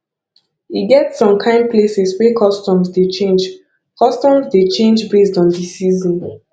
e get som kain places wey customs dey change customs dey change based on de season